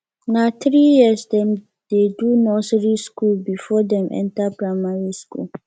na three years dem dey do nursery skool before dem enter primary skool